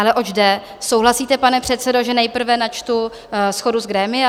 Ale oč jde: Souhlasíte, pane předsedo, že nejprve načtu shodu z grémia?